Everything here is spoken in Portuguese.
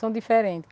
São diferentes.